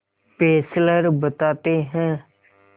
Fessler बताते हैं